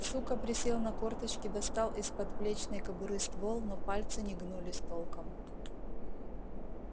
сука присел на корточки достал из подплечной кобуры ствол но пальцы не гнулись толком